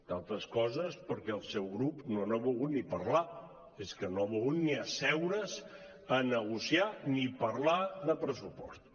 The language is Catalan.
entre altres coses perquè el seu grup no n’ha volgut ni parlar és que no ha volgut ni asseure’s a negociar ni parlar de pressupostos